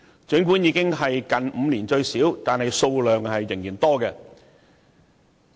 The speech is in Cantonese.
儘管修正案已是近5年最少，但數量仍然很多。